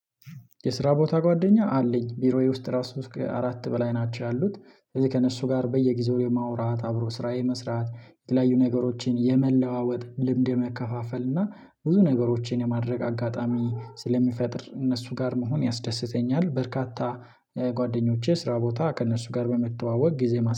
የስራ ቦታ ጓደኛ አለኝ ቢሮዬ ውስጥ ራሱ እስከ አራት በላይ ናቸው ያሉት ከዚህ ከእነሱ ጋር በየጊዜው የማውራት አብሮ ስራ የመስራት የተለያዩ ነገሮችን የመለዋወጥ ልምድ የመከፋፈል እና ብዙ ነገሮችን የማድረግ አጋጣሚ ስለሚፈጥር እነሱ ጋር መሆን ያስደስተኛል። በርካታ ጓደኞቼ ስራ ቦታ ከእነሱ ጋር በመተዋወቅ ጊዜ ማስ